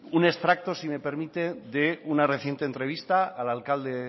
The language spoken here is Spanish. un extracto si me permite de una reciente entrevista al alcalde